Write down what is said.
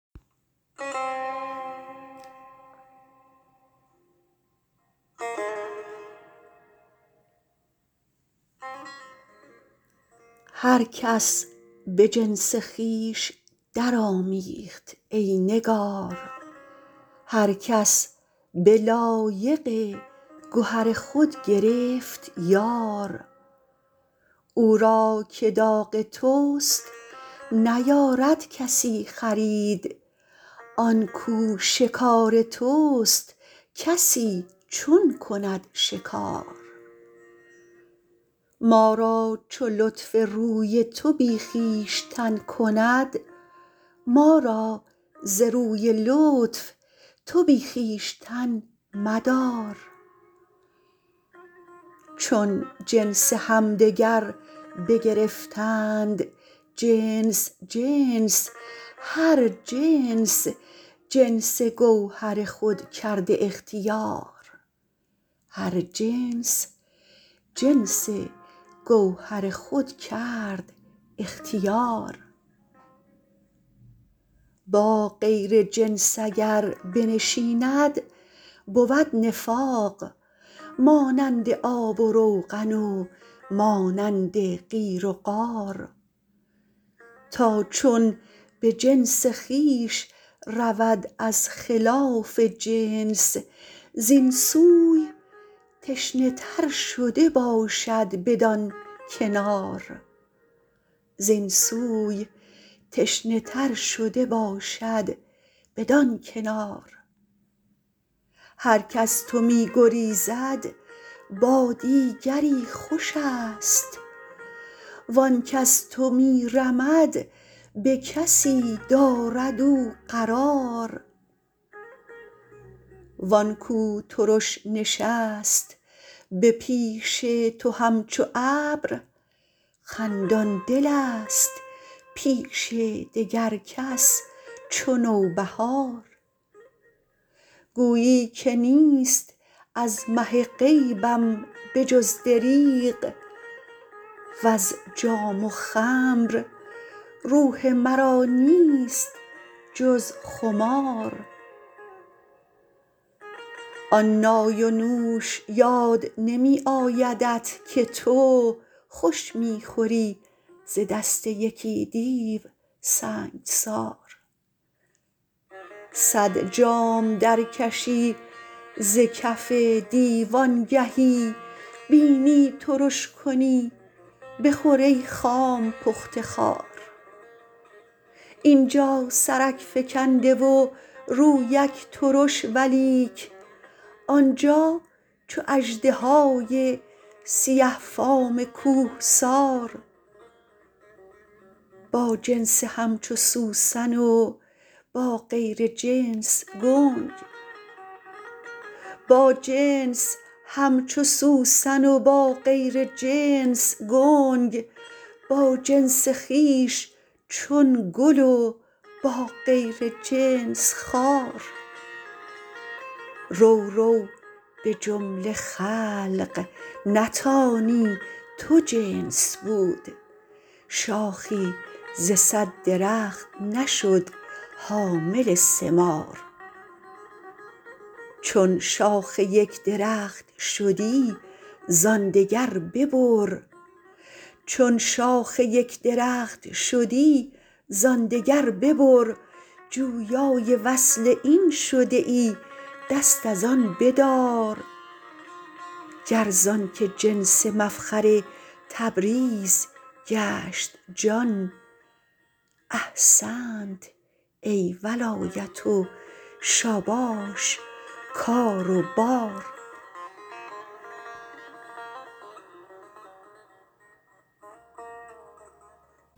هر کس به جنس خویش درآمیخت ای نگار هر کس به لایق گهر خود گرفت یار او را که داغ توست نیارد کسی خرید آن کو شکار توست کسی چون کند شکار ما را چو لطف روی تو بی خویشتن کند ما را ز روی لطف تو بی خویشتن مدار چون جنس همدگر بگرفتند جنس جنس هر جنس جنس گوهر خود کرد اختیار با غیر جنس اگر بنشیند بود نفاق مانند آب و روغن و مانند قیر و قار تا چون به جنس خویش رود از خلاف جنس زین سوی تشنه تر شده باشد بدان کنار هرک از تو می گریزد با دیگری خوشست و آنک از تو می رمد به کسی دارد او قرار و آن کو ترش نشست به پیش تو همچو ابر خندان دلست پیش دگر کس چو نوبهار گویی که نیست از مه غیبم به جز دریغ وز جام و خمر روح مرا نیست جز خمار آن نای و نوش یاد نمی آیدت که تو خوش می خوری ز دست یکی دیو سنگسار صد جام درکشی ز کف دیو آنگهی بینی ترش کنی بخور ای خام پخته خوار این جا سرک فکنده و رویک ترش ولیک آن جا چو اژدهای سیه فام کوهسار با جنس همچو سوسن و با غیر جنس گنگ با جنس خویش چون گل و با غیر جنس خار رو رو به جمله خلق نتانی تو جنس بود شاخی ز صد درخت نشد حامل ثمار چون شاخ یک درخت شدی زان دگر ببر جویای وصل این شده ای دست از آن بدار گر زانک جنس مفخر تبریز گشت جان احسنت ای ولایت و شاباش کار و بار